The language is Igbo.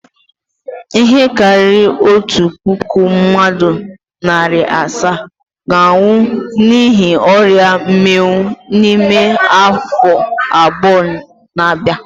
Ihe karịrị otu puku mmadụ na narị asaa ga-anwụ n'ihi ọria mminwu n'ime afọ abụọ na-abịa.